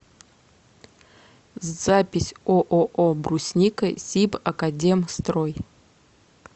запись ооо брусника сибакадемстрой